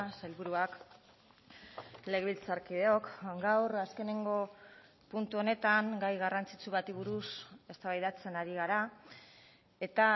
sailburuak legebiltzarkideok gaur azkeneko puntu honetan gai garrantzitsu bati buruz eztabaidatzen ari gara eta